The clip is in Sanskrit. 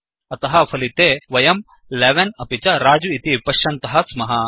अतः फलिते वयं 11 अपि च रजु इति पश्यन्तः स्मः